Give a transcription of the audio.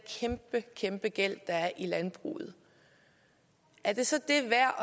kæmpe kæmpe gæld der i landbruget er det så det værd